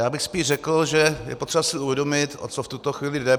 Já bych spíš řekl, že je potřeba si uvědomit, o co v tuto chvíli jde.